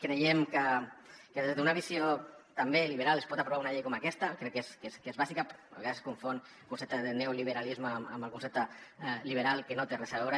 creiem que des d’una visió també liberal es pot aprovar una llei com aquesta que crec que és bàsica a vegades es confon el concepte de neoliberalisme amb el concepte liberal que no hi té res a veure